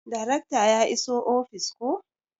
Darekta ya iso ofis koh?